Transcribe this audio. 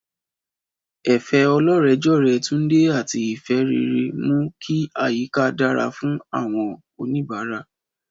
Ẹ̀fẹ̀ ọlọ́rẹ̀ẹ́jọ̀rẹ́ Tunde àti ìfẹ́ rere mú kí àyíká dára fún àwọn oníbàárà.